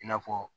I n'a fɔ